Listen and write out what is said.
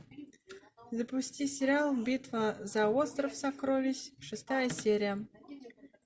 запусти сериал битва за остров сокровищ шестая серия